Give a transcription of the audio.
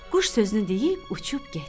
Quş sözünü deyib uçub getdi.